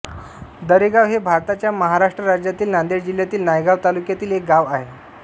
दरेगाव हे भारताच्या महाराष्ट्र राज्यातील नांदेड जिल्ह्यातील नायगाव तालुक्यातील एक गाव आहे